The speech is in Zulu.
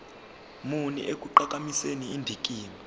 muni ekuqhakambiseni indikimba